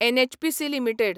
NHPC limited